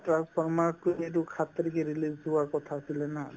transformers তো এইটো সাত তাৰিখে release দিয়াৰ কথা আছিলে না